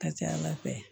Ka ca ala fɛ